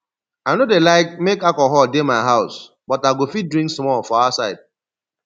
i no dey like make alcohol dey my house but i go fit drink small for outside